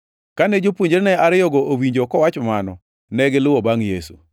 Kane jopuonjrene ariyogo owinjo kowacho mano, negiluwo bangʼ Yesu.